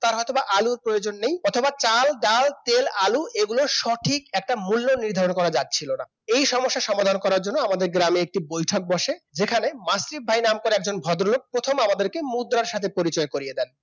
তার হয়তো আলুর প্রয়োজন নেই অথবা চাল, ডাল, তেল, আলুর এগুলোর সঠিক একটা মূল্য নির্ধারণ করা যাচ্ছিল না এই সমস্যা সমাধান করার জন্য আমাদের গ্রামে একটা বৈঠক বসে যেখানে মাসিফ ভাই নাম করে একজন ভদ্রলোক আমাদের প্রথম মুদ্রার সঙ্গে পরিচয় করিয়ে দেন